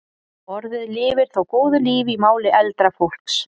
Orðið lifir þó góðu lífi í máli eldra fólks.